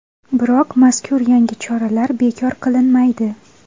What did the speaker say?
Biroq mazkur yangi choralar bekor qilinmaydi.